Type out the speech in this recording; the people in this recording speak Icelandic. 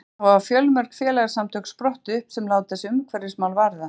þá hafa fjölmörg félagasamtök sprottið upp sem láta sig umhverfismál varða